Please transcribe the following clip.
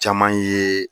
Caman ye